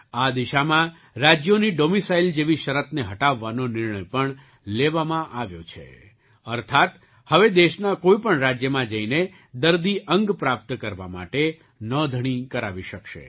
આ દિશામાં રાજ્યોની ડૉમિસાઇલ જેવી શરતને હટાવવાનો નિર્ણય પણ લેવામાં આવ્યો છે અર્થાત્ હવે દેશના કોઈ પણ રાજ્યમાં જઈને દર્દી અંગ પ્રાપ્ત કરવા માટે નોંધણી કરાવી શકશે